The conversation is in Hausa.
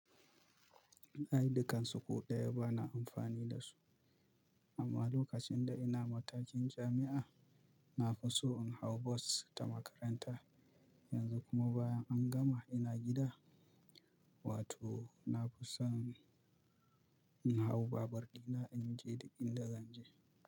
Aidikansu ko ɗaya ba na amfani da su, amma lokacin da ina matakin jami'a, na fi so in hau bos ta makaranta, yanzu kuma bayan an gama ina gida, wato na fi son in hau babur ɗina inje dik inda zanje.